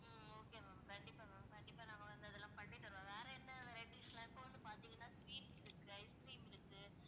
உம் okay ma'am கண்டிப்பா ma'am கண்டிப்பா நாங்க வந்து அதெல்லாம் பண்ணி தருவோம். வேற என்ன varieties லாம் இப்ப வந்து பாத்தீங்கன்னா sweets இருக்கு ice cream இருக்கு